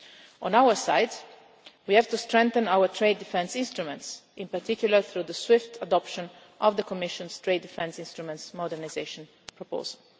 On our side we have to strengthen our trade defence instruments, in particular through the swift adoption of the Commission's trade defence instruments modernisation proposal.